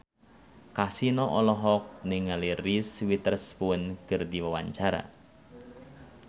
Kasino olohok ningali Reese Witherspoon keur diwawancara